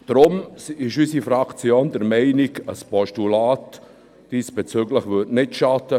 Deshalb ist unsere Fraktion der Meinung, ein diesbezügliches Postulat würde nicht schaden.